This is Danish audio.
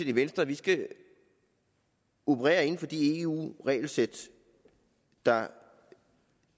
i venstre at vi skal operere inden for de eu regelsæt der